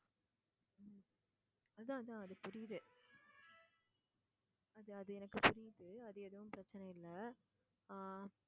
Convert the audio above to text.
அதான் அதான் புரியுது அது அது எனக்கு புரியுது அது எதுவும் பிரச்சனை இல்ல அஹ்